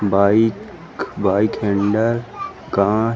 bike bike handle कांच--